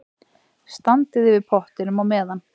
Standið yfir pottinum á meðan.